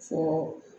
Fɔɔ